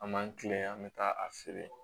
An b'an kilen an bɛ taa a feere